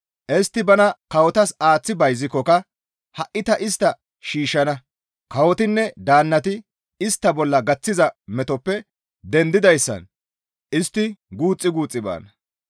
Istti bana kawotas aaththi bayzikkoka ha7i ta istta shiishshana; kawotinne daannati istta bolla gaththiza metoppe dendidayssan istti guuxxi guuxxi baana.